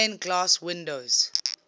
stained glass windows